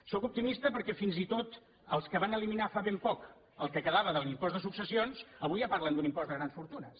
sóc optimista perquè fins i tot els que van eliminar fa ben poc el que quedava de l’impost de successions avui ja parlen d’un impost de grans fortunes